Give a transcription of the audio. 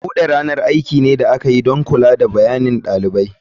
Bude ranar aiki ne da aka yi don bayanin kula da ɗalibai.